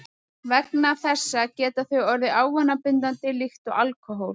Vegna þessa geta þau orðið ávanabindandi líkt og alkóhól.